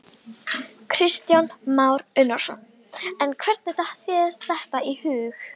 Honum, sem var hinn styrki stafkarl norðursins!